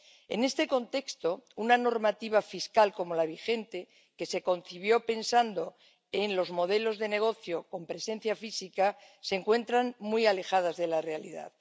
En este contexto, una normativa fiscal como la vigente, que se concibió pensando en los modelos de negocio con presencia física, se encuentra muy alejada de la realidad.